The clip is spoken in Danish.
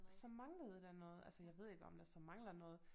Så manglede der noget altså jeg ved ikke om der så mangler noget